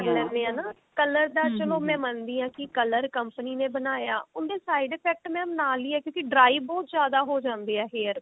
ਕਰ ਲੈਨੇ ਆ ਨਾ color ਦਾ ਚਲੋ ਮੈਂ ਮੰਨਦੀ ਆ ਕੀ color company ਨੇ ਬਣਾਇਆ ਉਹਦੇ side effect mam ਨਾਲ ਹੀ ਹੈ ਕਿਉਂਕਿ dry ਬਹੁਤ ਜਿਆਦਾ ਹੋ ਜਾਂਦੇ ਆ hairs